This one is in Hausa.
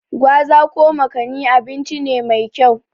Gwaza/Makani abinci ne mai kyau.